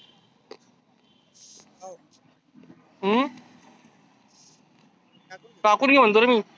हम्म टाकुण घे म्हणतो रे मी.